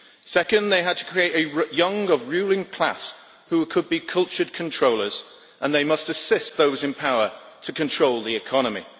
Second, they had to create a young ruling class who could be cultured controllers, and they must assist those in power to control the economy.